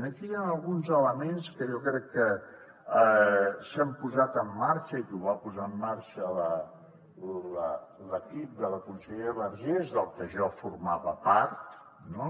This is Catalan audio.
i aquí hi ha alguns elements que jo crec que s’han posat en marxa que els va posar en marxa l’equip de la consellera vergés del que jo formava part no